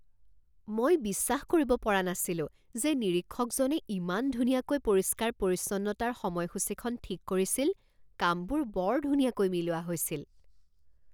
মই বিশ্বাস কৰিব পৰা নাছিলো যে নিৰীক্ষকজনে ইমান ধুনীয়াকৈ পৰিষ্কাৰ পৰিচ্ছন্নতাৰ সময়সূচীখন ঠিক কৰিছিল! কামবোৰ বৰ ধুনীয়াকৈ মিলোৱা হৈছিল।